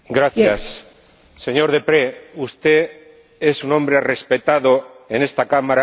eñor Deprez, usted es un hombre respetado en esta Cámara y en este Grupo.